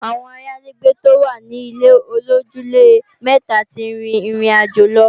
Àwọn ayálégbé tó wà ní ilé-olójúlé-mẹta ti rìn ìrìnàjò lọ